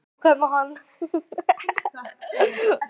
"""Já, hvað með hann?"""